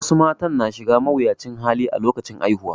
Wasu mata suna shiga mawuyacin hali a lokacin haihuwa